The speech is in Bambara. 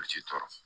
Olu ti tɔɔrɔ